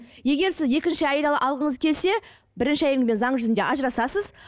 егер сіз екінші әйел алғыңыз келсе бірінші әйелмен заң жүзінде ажырасасыз